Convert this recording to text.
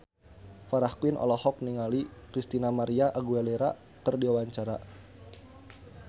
Farah Quinn olohok ningali Christina María Aguilera keur diwawancara